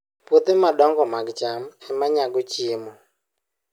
Puothe madongo mag cham ema nyago chiemo